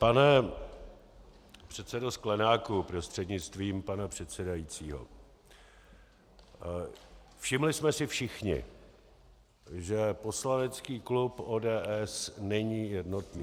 Pane předsedo Sklenáku prostřednictvím pana předsedajícího, všimli jsme si všichni, že poslanecký klub ODS není jednotný.